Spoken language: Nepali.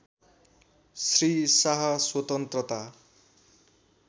श्री शाह स्वतन्त्रता